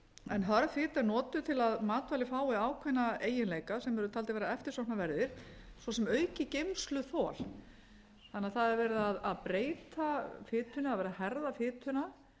en hörð fita er notuð til að matvæli fái ákveðna eiginleika sem eru taldir vera eftirsóknarverðir svo sem aukið geymsluþol þannig að það er verið að breyta fitunni það er verið að herða fituna